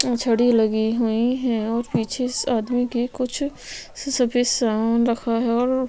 छड़ी लगी हुई है और पीछे इस आदमी की कुछ सफ़ेद सामान रखा हुआ है।